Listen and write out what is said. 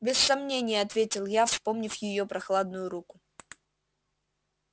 без сомнения ответил я вспомнив её прохладную руку